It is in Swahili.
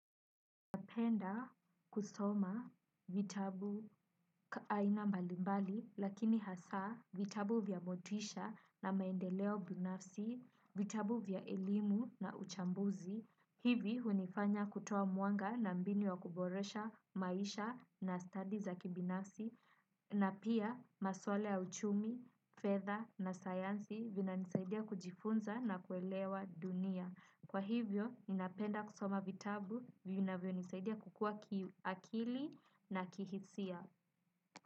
Ninapenda kusoma vitabu aina mbalimbali, lakini hasaa vitabu vya motisha na maendeleo binafsi, vitabu vya elimu na uchambuzi. Hivi hunifanya kutoa mwanga na mbinu ya kuboresha maisha na study za kibinasi, na pia maswala ya uchumi, fedha na sayansi vinanisaidia kujifunza na kuelewa dunia. Kwa hivyo, ninapenda kusoma vitabu, vinavyo nisaidia kukua kiakili na kihisia.